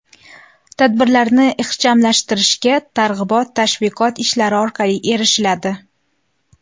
Tadbirlarni ixchamlashtirishga targ‘ibot-tashviqot ishlari orqali erishiladi.